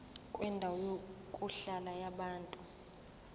kwendawo yokuhlala yabantu